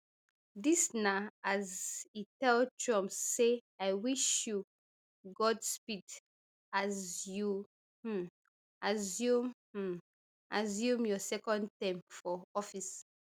dis na as e tell trump say i wish you godspeed as you um assume um assume your second term for office